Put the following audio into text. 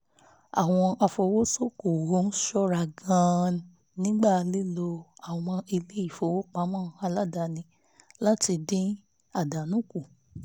àwọn afowósókòwò ń ṣọ́ra gan-an nígbà lílo àwọn ilé ìfowópamọ́ aládàáni láti dín àdánù kù